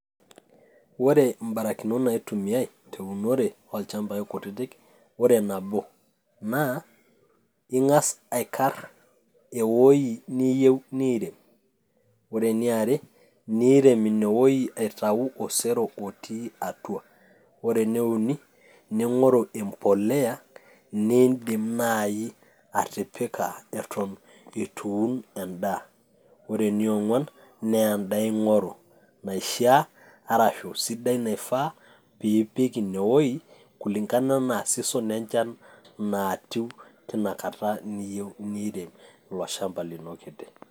ore ibarakinot naitumiyai tiatua ichambai kutittik ore nabo naa ing'as aikar eweji niyieu nirem, ore eniare nirem ineweji atau osero otii atua, ore ene uni ning'oru embolea nidim naaji atipika eton etu iun edaa, ore enong'uan naa edaa ingoru naishaa ashuu sidai naifaa pee ipik ineweji kulingana enaa season echan naatiu tinakata niyieu nirem iloshamba lino liyieu nirem.